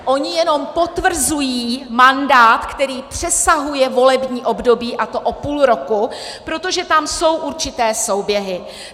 Oni jenom potvrzují mandát, který přesahuje volební období, a to o půl roku, protože tam jsou určité souběhy.